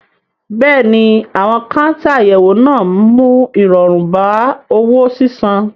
Bẹ́ẹ̀ ni, àwọn káńtà àyẹ̀wò máa ń mú ìrọ̀rùn bá owó sísan.